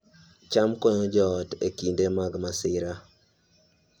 cham konyo joot e kinde mag masira